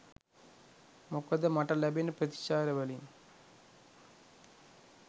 මොකද මට ලැබෙන ප්‍රතිචාරවලින්